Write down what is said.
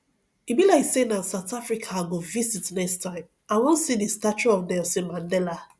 e be like say na south africa i go visit next time i wan see the statue of nelson mandela